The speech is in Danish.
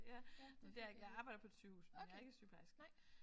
Ja men det er jeg ikke jeg arbejder på et sygehus men jeg er ikke sygeplejerske